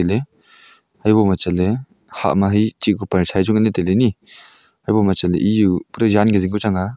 le habo ma chatle hah ma chihkuh parchai chu ngan le taile ni habo ma chatle ejao jan phai jing ku chang a.